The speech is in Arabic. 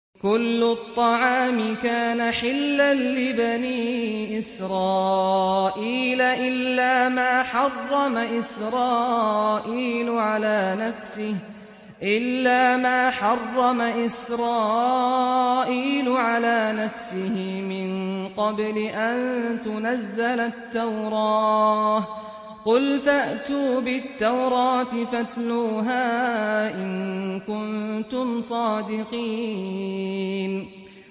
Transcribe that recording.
۞ كُلُّ الطَّعَامِ كَانَ حِلًّا لِّبَنِي إِسْرَائِيلَ إِلَّا مَا حَرَّمَ إِسْرَائِيلُ عَلَىٰ نَفْسِهِ مِن قَبْلِ أَن تُنَزَّلَ التَّوْرَاةُ ۗ قُلْ فَأْتُوا بِالتَّوْرَاةِ فَاتْلُوهَا إِن كُنتُمْ صَادِقِينَ